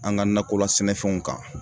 An ŋa nakola sɛnɛfɛnw kan